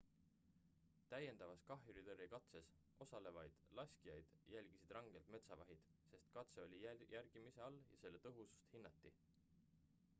täiendavas kahjuritõrjekatses osalevaid laskjaid jälgisid rangelt metsavahid sest katse oli jälgimise all ja selle tõhusust hinnati